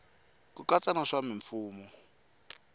ku katsa na swa mimfuwo